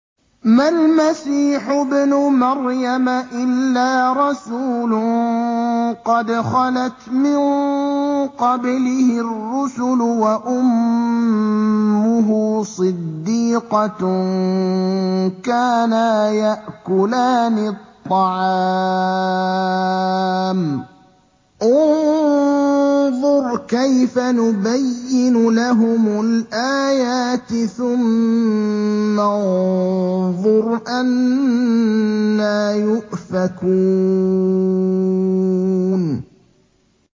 مَّا الْمَسِيحُ ابْنُ مَرْيَمَ إِلَّا رَسُولٌ قَدْ خَلَتْ مِن قَبْلِهِ الرُّسُلُ وَأُمُّهُ صِدِّيقَةٌ ۖ كَانَا يَأْكُلَانِ الطَّعَامَ ۗ انظُرْ كَيْفَ نُبَيِّنُ لَهُمُ الْآيَاتِ ثُمَّ انظُرْ أَنَّىٰ يُؤْفَكُونَ